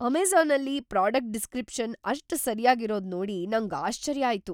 ಅಮೆಜಾ಼ನಲ್ಲಿ product descriptions ಅಷ್ಟ ಸರ್ಯಾಗಿರೋದ್ ನೋಡಿ ನಂಗ್ ಆಶ್ಚರ್ಯ ಆಯ್ತು.